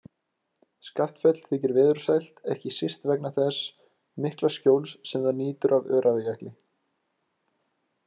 Skaftafell þykir veðursælt, ekki síst vegna þess mikla skjóls sem það nýtur af Öræfajökli.